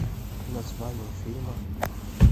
название фильма